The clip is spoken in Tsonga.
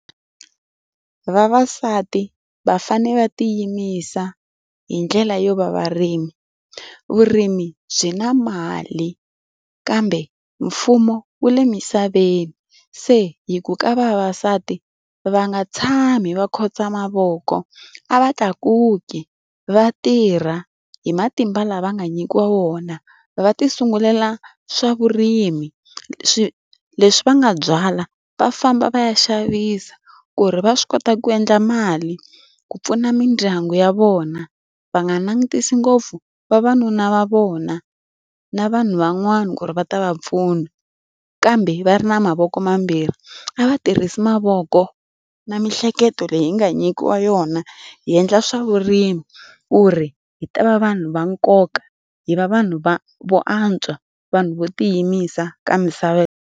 Vavasati va fanele va tiyimisela hi ndlela yo va varimi. Vurimi byi na mali kambe mfumo wu le misaveni. Se hi ku ka vavasati va nga tshami va khotsa mavoko, a va tlakuki, va tirha hi matimba lama va nga nyikiwa wona, va ti sungulela swa vurimi. Leswi va nga byala va famba va ya xavisa ku ri va swi kota ku endla mali ku pfuna mindyangu ya vona, va nga langutisi ngopfu vavanuna va vona na vanhu van'wana ku ri va ta va pfuna kambe va ri na mavoko mambirhi. A va tirhisi mavoko na miehleketo leyi hi nga nyikiwa yona, hi endla swa vurimi, ku ri hi ta va vanhu va nkoka, hi va vanhu vo antswa, vanhu vo tiyimisela ka misava.